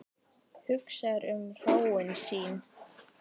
Hugsar um hróin sín.